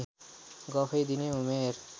गफै दिने उमेर